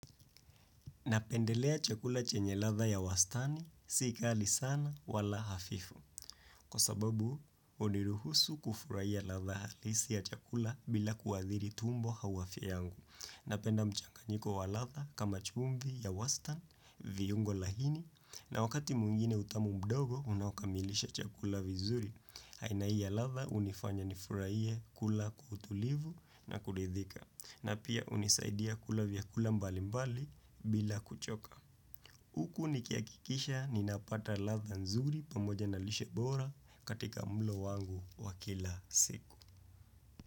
Napendelea chakula chenye ladha ya wastani, si kali sana wala hafifu. Kwa sababu, huniruhusu kufurahiya ladha halisi ya chakula bila kuadhiri tumbo au afya yangu. Napenda mchanganyiko wa ladha kama chumvi ya wastani, viungo laini, na wakati mwingine utamu mdogo, unaokamilisha chakula vizuri. Aina hii ya ladha, hunifanya nifurahiye kula kwa utulivu na kuridhika. Na pia hunisaidia kula vyakula mbali mbali bila kuchoka. Huku nikihakikisha ninapata ladha nzuri pamoja na lishe bora katika mulo wangu wa kila siku.